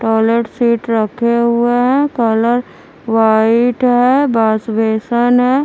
Toilet से हुआ है कलर वाइट है बास्वेसन है ।